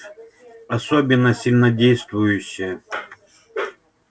особенно сильнодействующие